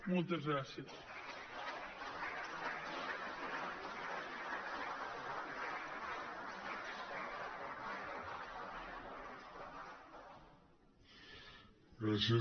moltes gràcies